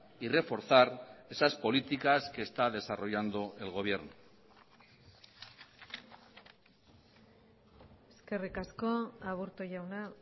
y reforzar esas políticas que está desarrollando el gobierno eskerrik asko aburto jauna